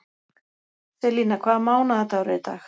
Selina, hvaða mánaðardagur er í dag?